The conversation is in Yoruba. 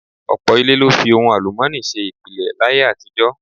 Ọ̀pọ̀ ilé ló fi ohun àlùmọ́ọ́nì ṣe ìpìlẹ̀ láyé àtijọ́.